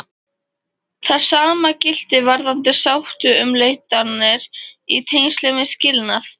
Það sama gilti varðandi sáttaumleitanir í tengslum við skilnað.